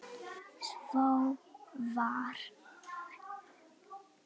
Svo var.